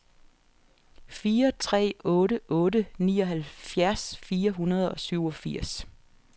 fire tre otte otte nioghalvfjerds fire hundrede og syvogfirs